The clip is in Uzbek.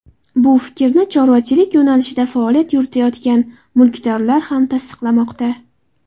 Bu fikrni chorvachilik yo‘nalishida faoliyat yuritayotgan mulkdorlar ham tasdiqlamoqda.